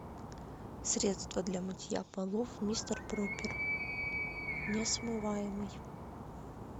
средство для мытья полов мистер пропер несмываемый